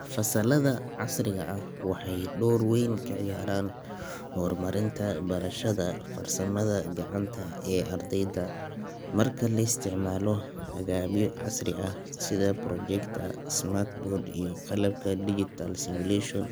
Fasalada casriga ah waxay door weyn ka ciyaaraan horumarinta barashada farsamada gacanta ee ardayda. Marka la isticmaalo agabyo casri ah sida projector, smart board iyo qalabka digital simulation,